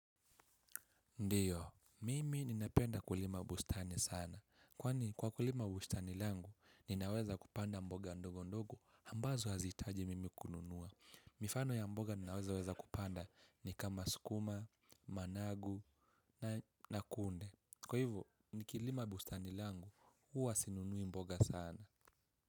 Ndiyo, mimi ninapenda kulima bustani sana, kwani kwa kulima bustani langu, ninaweza kupanda mboga ndogo ndogo, ambazo hazihitaji mimi kununua. Mifano ya mboga ninazo weza kupanda ni kama sukuma, managu na kunde. Kwa hivyo, nikilima bustani langu, huwa sinunui mboga sana.